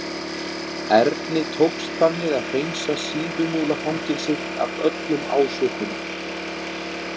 Erni tókst þannig að hreinsa Síðumúlafangelsið af öllum ásökunum.